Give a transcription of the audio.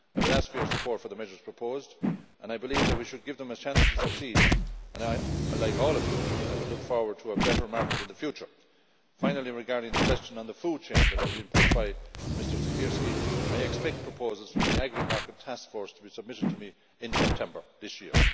I would ask for your support for the measures proposed, and I believe that we should give them a chance to succeed and, like all of you, I look forward to a better market in the future. Finally, regarding the question on the food chain that was put by Mr Siekierski, I expect proposals from the AGRI task force to be submitted to me in September this year.